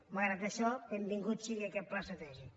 malgrat això benvingut si·gui aquest pla estratègic